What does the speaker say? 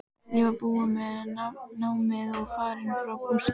Ég var búin með námið og farin frá Gústa.